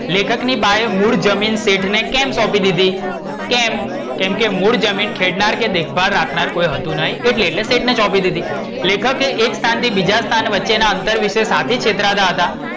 લેખકની બાએ મૂળ જમીન શેઠ ને કેમ સોપી દીધી? કેમ? કેમકે મૂળ જમીન ખેડનાર કે દેખભાડ રાખનાર કોઈ હતું નૈ એટ્લે શેઠને સોપી દીધી. લેખકે એક સ્થાન થી બીજા સ્થાન વચ્ચેના અંતર વિષે શાથી છેતરાતા હતા?